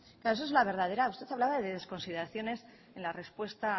claro eso es la verdadera usted hablaba de desconsideraciones en la respuesta